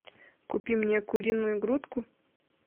купи мне куриную грудку